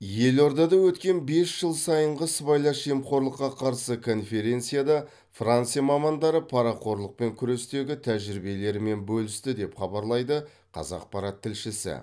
елордада өткен бес жыл сайынғы сыбайлас жемқорлыққа қарсы конференцияда франция мамандары парақорлықпен күрестегі тәжірибелерімен бөлісті деп хабарлайды қазақпарат тілшісі